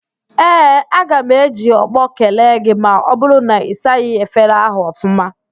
Ee, aga m eji ọkpọ kelee gị ma ọ bụrụ na ị saghị efere ahụ ọfụma